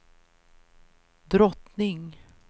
drottning